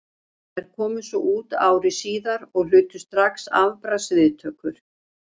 Þær komu svo út ári síðar og hlutu strax afbragðs viðtökur.